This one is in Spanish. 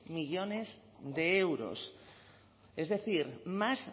millónes de euros es decir más